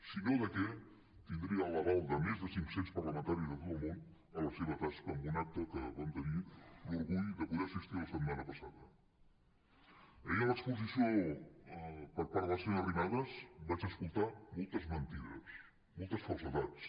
si no de què tindria l’aval de més de cinc cents parlamentaris de tot el món per la seva tasca en un acte que vam tenir l’orgull de poder hi assistir la setmana passada ahir en l’exposició per part de la senyora arrimadas vaig escoltar moltes mentides moltes falsedats